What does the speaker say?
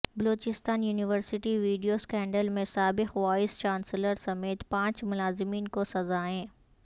Balochistan university video scandal میں سابق vice chancellor سمیت پانچ ملازمین کو سزائیں